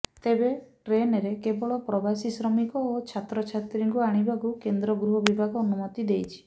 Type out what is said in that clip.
ତେବେ ଟ୍ରେନ୍ରେ କେବଳ ପ୍ରବାସୀ ଶ୍ରମିକ ଓ ଛାତ୍ରଛାତ୍ରୀଙ୍କୁ ଆଣିବାକୁ କେନ୍ଦ୍ର ଗୃହ ବିଭାଗ ଅନୁମତି ଦେଇଛି